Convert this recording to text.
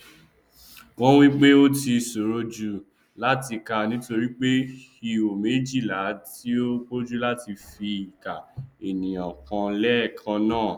wọn wípé ó ti ṣòro jù látì kà nítorí ihò méjìlá ti pọjù láti fi ìka ènìyàn kàn lẹẹkannáà